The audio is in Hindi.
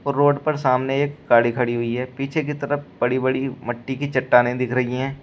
वो रोड पर सामने एक गाड़ी खड़ी हुई है पीछे की तरफ बड़ी बड़ी मट्टी की चट्टानें दिख रही हैं।